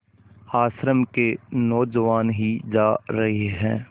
आश्रम के नौजवान ही जा रहे हैं